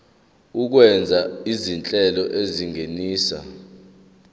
okwenziwa izinhlelo ezingenisa